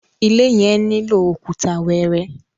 ilé yen nilo Òkúta wẹẹrẹ